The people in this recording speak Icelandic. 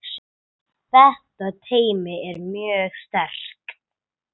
Þetta teymi er mjög sterkt.